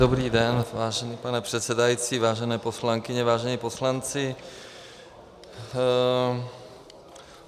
Dobrý den, vážený pane předsedající, vážené poslankyně, vážení poslanci.